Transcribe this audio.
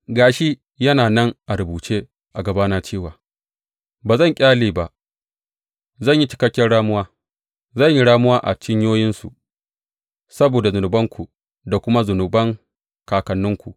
Ga shi, yana nan a rubuce a gabana cewa ba zan ƙyale ba, zan yi cikakken ramuwa; zan yi ramuwa a cinyoyinsu saboda zunubanku da kuma zunuban kakanninku,